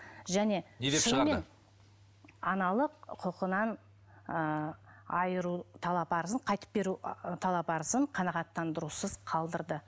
және аналық құқығынан ыыы айыру талап арызын қайтып беру ы талап арызын қанағаттандырусыз қалдырды